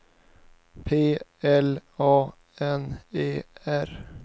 P L A N E R